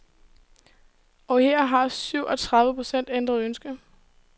Og her har syv og tredive procent ændret ønske.